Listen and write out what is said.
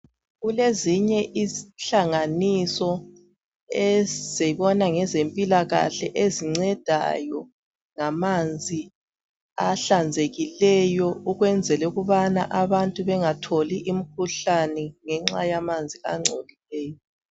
Kulezinye inhlanganiso ezibona ngezempilakahle ezincedayo ngamanzi ahlanzekileyo ukwenzela ukubana abantu bengatholi imikhuhlane ngenxa yamanzi angcolileyo.